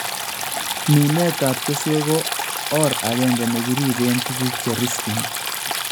Mineetab kesweek ko or akenke ne kiiribeen tukuk che riskyin